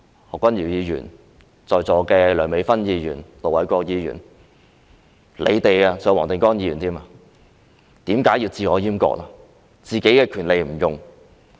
何君堯議員、在座的梁美芬議員、盧偉國議員及黃定光議員，你們為何要自我閹割呢？